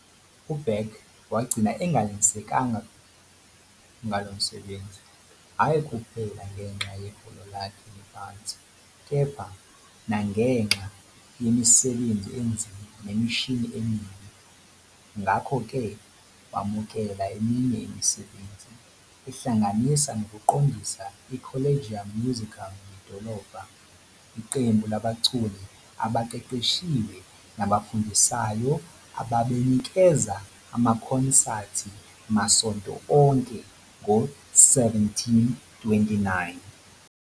UBach wagcina engenelisekanga ngalo msebenzi, hhayi kuphela ngenxa yeholo lakhe eliphansi, kepha nangenxa yemisebenzi enzima nemishini emibi. Ngakho-ke, wamukela eminye imisebenzi, ehlanganisa nokuqondisa iCollegium Musicum yedolobha, iqembu labaculi abaqeqeshiwe nabafundisayo ababenikeza amakhonsathi masonto onke, ngo-1729.